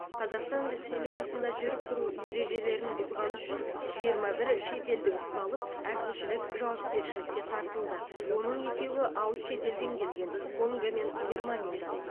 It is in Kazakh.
қазақстан республикасында жүріп тұру ережелерін бұзғаны үшін жиырма бір шетелдік ұсталып әкімшілік жауапкершілікке тартылды оның екеуі алыс шетелден келген конго мен германиядан